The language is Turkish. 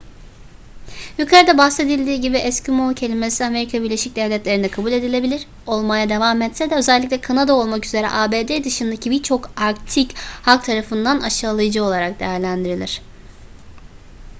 yukarıda bahsedildiği gibi eskimo kelimesi amerika birleşik devletleri'nde kabul edilebilir olmaya devam etse de özellikle kanada olmak üzere abd dışındaki birçok arktik halk tarafından aşağılayıcı olarak değerlendirilir